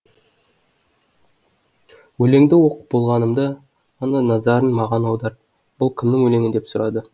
өлеңді оқып болғанымда ғана назарын маған аударып бұл кімнің өлеңі деп сұрады